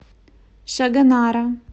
шагонара